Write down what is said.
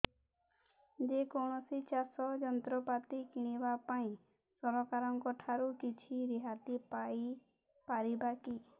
ଯେ କୌଣସି ଚାଷ ଯନ୍ତ୍ରପାତି କିଣିବା ପାଇଁ ସରକାରଙ୍କ ଠାରୁ କିଛି ରିହାତି ପାଇ ପାରିବା କି